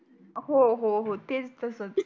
हो हो तेच तस